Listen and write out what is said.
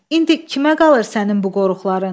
İndi kimə qalır sənin bu qoruxların?